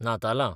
नातालां